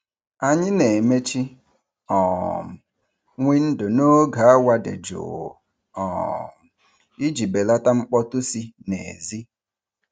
Anyị na-emechi um windo n'oge awa dị jụụ um iji belata mkpọtụ si n'èzí.